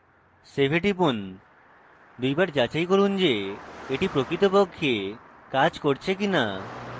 save টিপুন দুইবার যাচাই করুন যে এটি প্রকৃতপক্ষে কাজ করছে কিনা